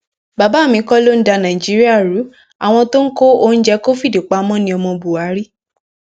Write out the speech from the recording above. bàbá mi kọ ló ń da nàìjíríà ru àwọn tó kó oúnjẹ covid pamọ níọmọ buhari